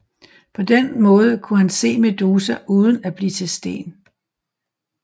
På den måde kunne han se Medusa uden at blive til sten